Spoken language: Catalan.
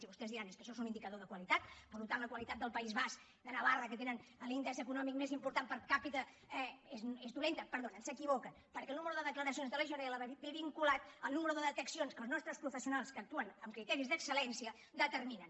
i vostès diran és que això és un indicador de qualitat i per tant la qualitat del país basc de navarra que tenen l’índex econò·mic més important per capita és dolenta perdonin s’equivoquen perquè el nombre de declaracions de legionel·la ve vinculat al nombre de deteccions que els nostres professionals que actuen amb criteris d’excel·lència determinen